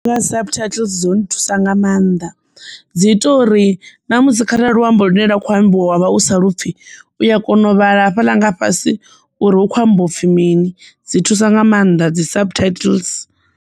Subtitles dzo nthusa nga maanḓa dzi ita uri na musi kharali luambo lune lwa kho ambiwa wa vha u sa lapfhi uya kona u vhala hafhaḽa nga fhasi uri hu khou amba upfi mini dzi thusa nga maanḓa dzi subtitles.